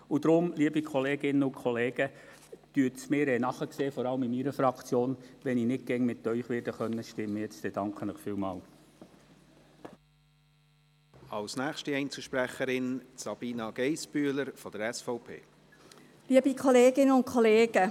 Deshalb, liebe Kolleginnen und Kollegen, und vor allem auch EVP-Fraktion, sehen Sie es mir nach, wenn ich jetzt gleich nicht immer wie Sie stimmen kann.